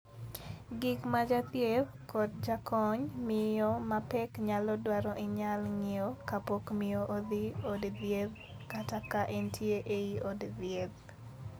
Gik ma jathieth kod jakony miyo ma pek nyalo dwaro inyal ng'iew kapok miyo odhi od thieth kata ka entie ei od thieth.